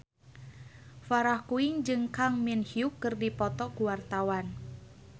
Farah Quinn jeung Kang Min Hyuk keur dipoto ku wartawan